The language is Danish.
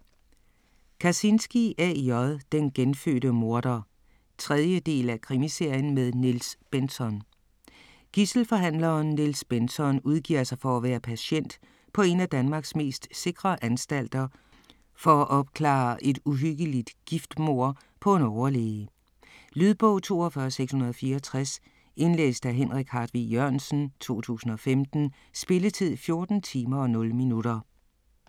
Kazinski, A. J.: Den genfødte morder 3. del af Krimiserien med Niels Bentzon. Gidselforhandleren Niels Bentzon udgiver sig for at være patient på en af Danmarks mest sikre anstalter for at opklare et uhyggeligt giftmord på en overlæge. Lydbog 42664 Indlæst af Henrik Hartvig Jørgensen, 2015. Spilletid: 14 timer, 0 minutter.